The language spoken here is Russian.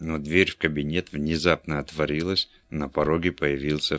но дверь в кабинет внезапно отворилась и на пороге появился